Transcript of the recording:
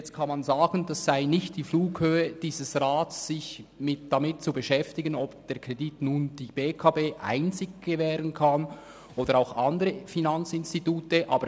Jetzt kann man sagen, es sei nicht die Flughöhe dieses Rats, sich damit zu beschäftigen, ob nun einzig die BEKB diesen Kredit gewähren könne oder ob auch andere Finanzinstitute infrage kommen.